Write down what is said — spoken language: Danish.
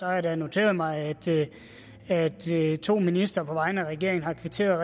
jeg da noteret mig at at to ministre på vegne af regeringen har kvitteret